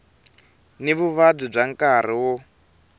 ni vuvabyi bya nkarhi wo